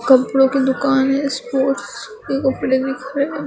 कपड़ों की दुकान है स्पोर्ट्स के कपड़े दिख रहे--